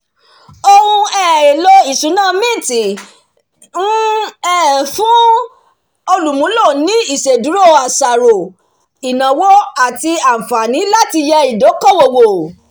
ohun um èlò ìṣúná mint ń um fún olùmúlò ni ìṣèdúró àṣàrò ìnáwó àti àǹfààní láti yẹ ìdókòwò wò